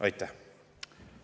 Aitäh!